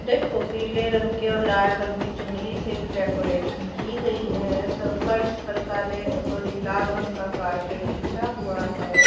देखो पीले रंग के और लाल रंग की चुनरी से भी डेकोरेशन की गई है सो फर्श पर काले सॉरी लाल रंग का कार्पेट बिछा हुआ है।